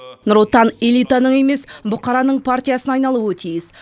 нұр отан элитаның емес бұқараның партиясына айналуы тиіс